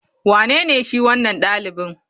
Wanene shi wanan dalibi?